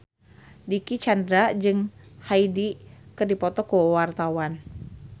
Dicky Chandra jeung Hyde keur dipoto ku wartawan